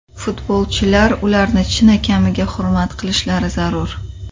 Futbolchilar ularni chinakamiga hurmat qilishlari zarur.